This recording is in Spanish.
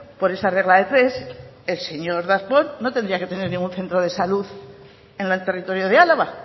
por esa regla de tres el señor darpon no tendría que tener ningún centro de salud en el territorio de álava